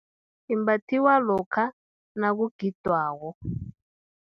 Imbathwa lokha, nakugidwako.